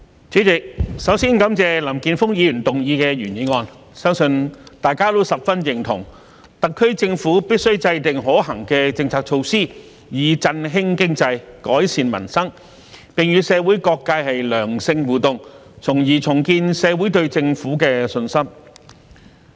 主席，首先感謝林健鋒議員提出原議案，相信大家都十分認同，特區政府必須制訂可行的政策措施，以振興經濟、改善民生，並與社會各界良性互動，從而重建社會對政府的信心。